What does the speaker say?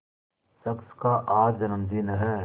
शख्स का आज जन्मदिन है